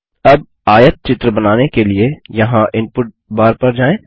अब आयतचित्र बनाने के लिए यहाँ इनपुट बार पर जाएँ